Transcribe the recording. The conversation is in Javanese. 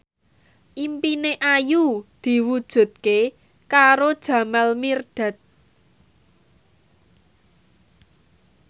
impine Ayu diwujudke karo Jamal Mirdad